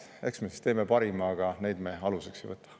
Eks me teeme parima, aga neid me aluseks ei võta.